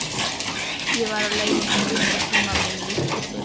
Ég var á leiðinni í fyrsta tímann minn í íslensku.